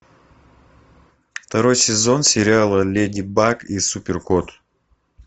второй сезон сериала леди баг и супер кот